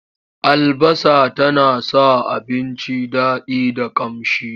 Albasa tana sa abinci daɗi da ƙamshi.